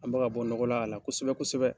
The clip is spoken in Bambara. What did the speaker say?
An bɛ ka bɔ nɔgɔ la ala kosɛbɛ kosɛbɛ